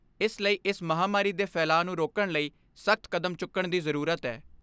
ਇਸ ਲਈ ਇਸ ਮਹਾਂਮਾਰੀ ਦੇ ਫੈਲਾਅ ਨੂੰ ਰੋਕਣ ਲਈ ਸਖ਼ਤ ਕਦਮ ਚੁੱਕਣ ਦੀ ਜ਼ਰੂਰ ਐ।